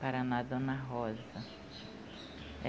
Paraná, Dona Rosa.